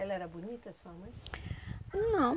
Ela era bonita, a sua mãe? Não.